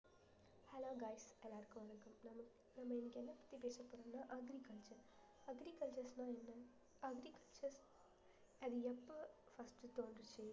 hello guys எல்லாருக்கும் வணக்கம் நம்ம நம்ம இன்னைக்கு என்ன பத்தி பேசப்போறோம்னா agriculture agriculture ன்னா அது எப்படி அது எப்போ first தோன்றுச்சு